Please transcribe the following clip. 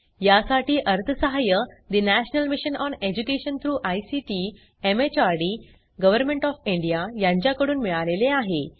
यासाठी अर्थसहाय्य national mission on education through ICT MHRD government of India यांच्याकडून मिळालेले आहे